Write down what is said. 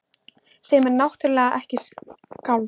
Sem er náttúrlega ekkert skáld.